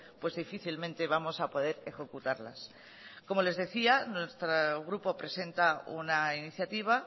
pues difícilmente vamos a poder ejecutarlas como les decía nuestro grupo presenta una iniciativa